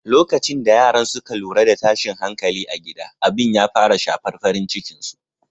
Lokacin da yaran suka lura da tashin hankali a gida, abin ya fara shafar farin cikin su.